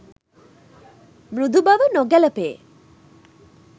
මෘදු බව නොගැලපේ